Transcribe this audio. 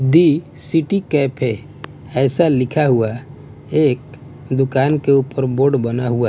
दी city cafe ऐसा लिखा हुआ है एक दुकान के ऊपर बोर्ड बना हुआ है।